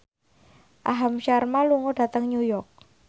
Aham Sharma lunga dhateng New York